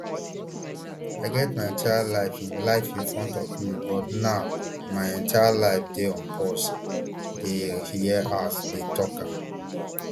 i get my entire life in life in front of me but now my entire life dey on pause dia hear her dey tok am